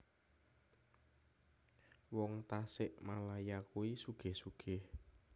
Wong Tasikmalaya kui sugih sugih